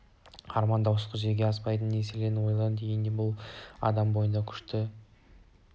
армандаушылық жүзеге аспайтын нәрселерді ойлану дегенмен де бұл адам бойындағы күшті құштарлық